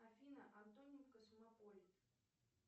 афина антонин космополит